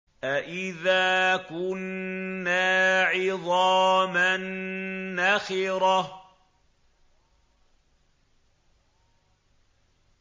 أَإِذَا كُنَّا عِظَامًا نَّخِرَةً